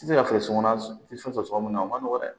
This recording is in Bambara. I tɛ se ka feere sokɔnɔna tɛ fɛn sɔrɔ mun na o man nɔgɔ dɛ